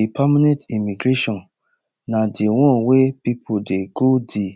di permanent immigration na di one wia pipo dey go di